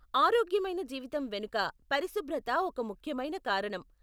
ఆరోగ్యమైన జీవితం వెనుక పరిశుభ్రత ఒక ముఖ్యమైన కారణం.